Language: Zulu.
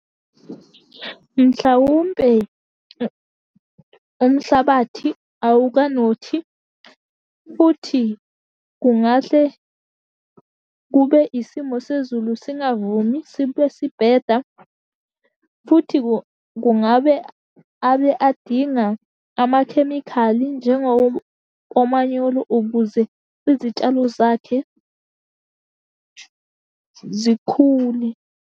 Mhlawumbe umhlabathi awukanothi, futhi kungahle kube isimo sezulu singavumi, sibe sibheda, futhi kungabe abe adinga amakhemikhali njengawo omanyolo, ukuze izitshalo zakhe zikhule.